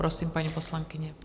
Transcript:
Prosím, paní poslankyně.